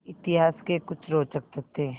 इतिहास के कुछ रोचक तथ्य